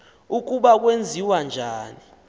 ukuba kwenziwa njani